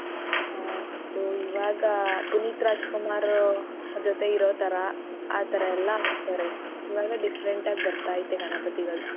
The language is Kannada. ಹ್ಮ್ ಇದು ಈವಾಗ ಪುನೀತ್ ರಾಜಕುಮಾರ್ ಆ ಜೊತೆ ಇರೋತರ ಆತರ ಎಲ್ಲ ಹಾಕ್ತಾರೆ ಇವಾಗ different ಆಗ್ ಬರ್ತಾಯ್ತೆ ಗಣಪತಿಗಳು.